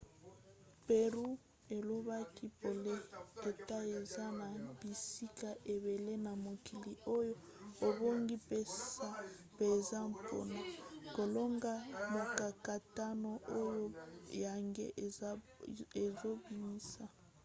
perry alobaki polele ete eza na bisika ebele na mokili oyo ebongi mpenza mpona kolonga mokakatano oyo yango ezobimisa.